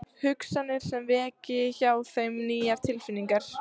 Hugsanir sem veki hjá þeim nýjar tilfinningar.